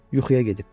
Yuxuya getmiş.